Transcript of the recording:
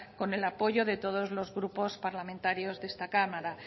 con el apoyo de todos los grupos parlamentarios de esta cámara